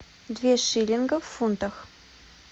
две шиллингов в фунтах